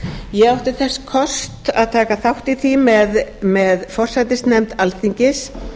ég átti þess kost að taka þátt í því með forsætisnefnd alþingis